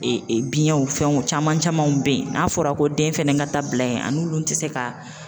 E e biɲɛ fɛnw caman camanw bɛ yen, n'a fɔra ko den fɛnɛ ka taa bila in a n'olu ti se ka